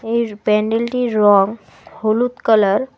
এর প্যান্ডেলটির রঙ হলুদ কালার ।